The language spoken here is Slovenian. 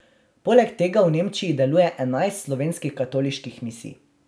Poleg tega v Nemčiji deluje enajst slovenskih katoliških misij.